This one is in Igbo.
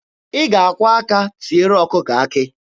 Ị ga-akwọ aka tiere ọkụkọ akị.